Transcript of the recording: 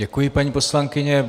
Děkuji, paní poslankyně.